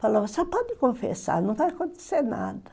Falava, só pode confessar, não vai acontecer nada.